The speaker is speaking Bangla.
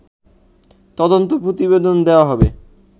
তদন্ত প্রতিবেদন দেয়া হবে